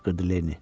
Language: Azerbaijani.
qışqırdı Lenni.